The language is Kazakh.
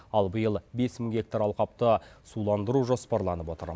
ал биыл бес мың гектар алқапты суландыру жоспарланып отыр